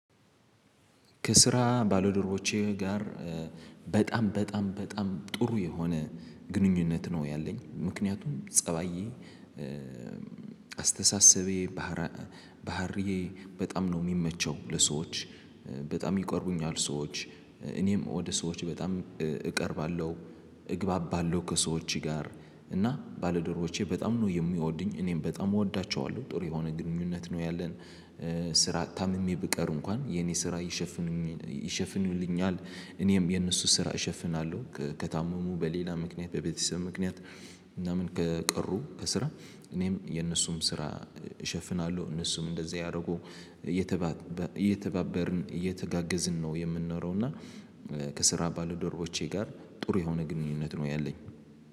ከስራ ባልድረቦቼ ጋር በጣም በጣም በጣም ጥሩ የሆነ ግንኙነት ነው ያለኝ። ምክንያቱም ፀባዬ። አስተሳሰቤ ባህር ባህርዬ በጣም ነው የሚመቸው ለሰዎች። በጣም ይቆርቡኛል ሰዎች እኔም ወደ ሰዎች በጣም እቀርባለሁ እግባባለሁ ከሰዎች ጋር። እና ባልደረቦቼ በጣም ነው የሚወዱኝ እኔም በጣም እወዳቸዋለሁ ጥሩ የሆነ ግንኙነት ነው ያለን። ስራ ታምሜ ብቀር እንኳን የኔ ስራ ይሸፍን ይሸፍኑልኛል። እኔም የነሱን ስራ እሸፍናለሁ ከታመሙ በሌላ ምክንያት በቤተሰብ ምክንያት እናም ከቀሩ ከስራ እኔም የነሱም ስራ እሸፍናለሁ። እነሱም እንደዛ ያደርጉ። እየተባበርን እየተጋገዝን ነው የምንኖረው። እና ከስራ ባልደርቦቼ ጋር ጥሩ የሆነ ግንኙነት ነው ያለኝ